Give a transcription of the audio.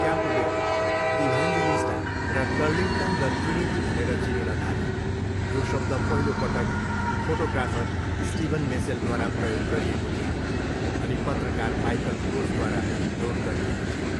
Campbell, Evangelista र Turlington the Trinity भनेर चिनिन थाले, यो शब्द पहिलो पटक फोटोग्राफर स्टिवन मेसेलद्वारा प्रयोग गरिएको थियो अनि पत्रकार माइकल ग्रोसद्वारा नोट गरिएको थियो।